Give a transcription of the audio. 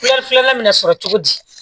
filanan me na sɔrɔ cogo di